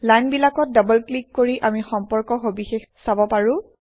লাইনবিলাকত double click কৰি আমি সম্পৰ্কৰ সবিশেষ চাব পাৰোঁ